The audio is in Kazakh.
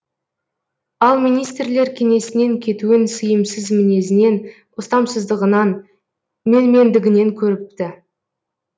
ал министрлер кеңесінен кетуін сыйымсыз мінезінен ұстамсыздығынан менмендігінен көріпті